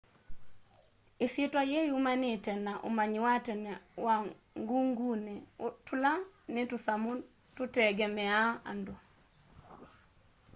isyîtwa yîî yumanite na umanyi wa tene wa ngûngûni tûla ni tusamu tutengemeaa andu